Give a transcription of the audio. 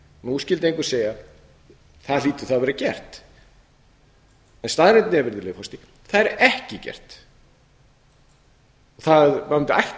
nú skyldi einhver segja það hlýtur þá að hafa verið gert en staðreyndin er það er ekki gert og það ætti ætla